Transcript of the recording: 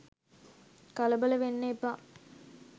කලබල වෙන්න එපා.